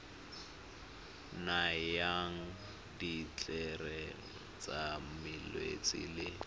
nayang ditlhare tsa malwetse le